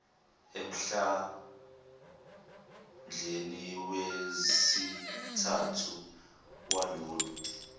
emhlandleni wesithathu walolo